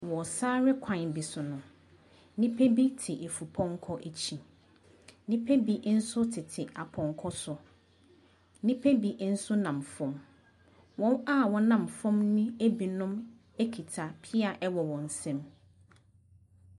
Wɔ sare kwan bi so no, nnipa bi te efupɔnkɔ akyi. Nnipa bi nso tete apɔnkɔ so. Nnipa bi nso nam fam. Wɔn a wɔnam fam no binom kuta pea wɔ wɔn nsam.